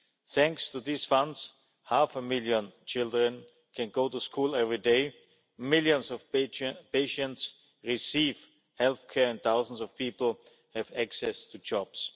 Thanks to these funds, half a million children can go to school every day, millions of patients receive health care, and thousands of people have access to jobs.